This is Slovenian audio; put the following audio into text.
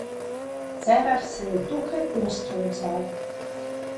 Cerar se je dokaj ostro odzval.